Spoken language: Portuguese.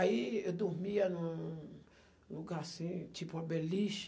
Aí eu dormia num lugar assim, tipo uma beliche.